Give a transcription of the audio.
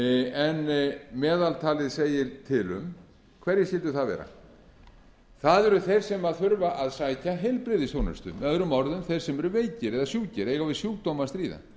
en meðaltalið segir til um hverjir skyldu það vera það eru þeir sem þurfa að sækja heilbrigðisþjónustu möo þeir sem eru veikir eða sjúkir eiga við sjúkdóm að stríða breyting ýmissa laga eiga við sjúkdóm að stríða